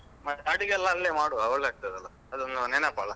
ಮತ್ತೆ ಅಡುಗೆಯೆಲ್ಲ ಅಲ್ಲೆ ಮಾಡುವ ಒಳ್ಳೆ ಆಗ್ತದಲ್ಲ, ಅದೊಂದು ನೆನಪಲ್ಲ.